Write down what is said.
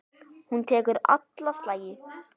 Hún tekur alla slagi.